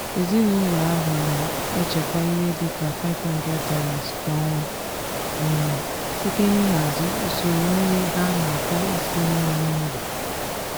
ezinụlọ ahụ na-echekwa ihe dị ka $500 kwa ọnwa site n'ịhazi usoro nri ha nakwa isi nri n'ụlọ.